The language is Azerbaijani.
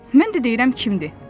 Mən də deyirəm kimdir.